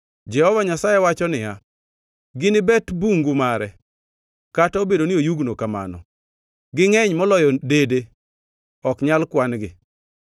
Jehova Nyasaye wacho niya, “Ginibet bungu mare, kata obedo ni oyugno kamano. Gingʼeny moloyo dede, ok nyal kwan-gi.